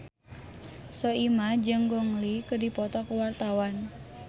Soimah jeung Gong Li keur dipoto ku wartawan